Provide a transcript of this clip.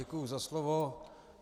Děkuji za slovo.